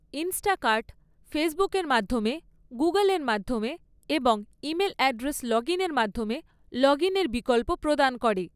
Instacart ফেসবুকের মাধ্যমে, গুগুলের মাধ্যমে এবং ইমেল অ্যাড্রেস লগইনের মাধ্যমে লগইনের বিকল্প প্রদান করে৷